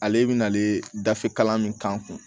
Ale bɛna ale dafe kalan min k'an kun